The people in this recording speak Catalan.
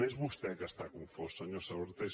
és vostè que està confós senyor sabaté